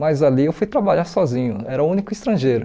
Mas ali eu fui trabalhar sozinho, era o único estrangeiro.